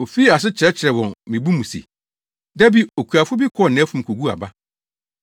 Ofii ase kyerɛkyerɛɛ wɔn wɔ mmebu mu se, “Da bi okuafo bi kɔɔ nʼafum koguu aba.